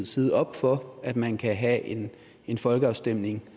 side op for at man kan have en en folkeafstemning